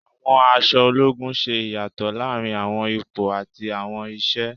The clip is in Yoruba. Àwọn aṣọ ológun ṣe ìyàtọ̀ láàrin àwọn ipò àti àwọn iṣẹ,